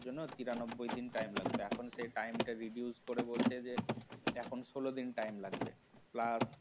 এজন্য তিরানব্বই দিন time লাগত এখন সেই time টা reduce করে বলছে যে এখন ষোলো দিন time লাগবে plus